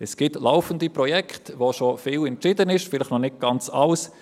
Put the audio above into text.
Es gibt laufende Projekte, in denen schon viel entschieden ist, vielleicht noch nicht ganz alles.